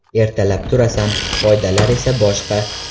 Ertalab turasan, qoidalar esa boshqa.